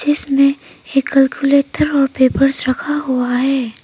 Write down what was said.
जिस में एक कैलकुलेटर और पेपर्स रखा हुआ है।